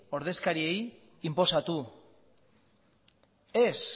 ordezkariei inposatu ez